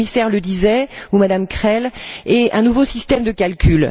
le commissaire le disait, ou M me Krehl et un nouveau système de calcul.